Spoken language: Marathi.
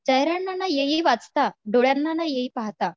चेहऱ्यांना ना येई वाचता डोळ्यांना ना येई पाहता